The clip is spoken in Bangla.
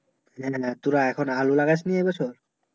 হ্যাঁ তোরা এখন আলু লাগাস নি এই বছর